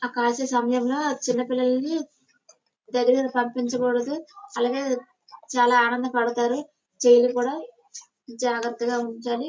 ఆ కాస్త సమయంలోనే చిన్నపిల్లలని దగ్గరగా పంపించకూడదు అలాగే చాలా ఆనంద పడతారు చాలా జాగ్రత్తగా ఉంచాలి.